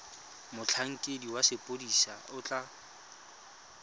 motlhankedi wa sepodisi o tla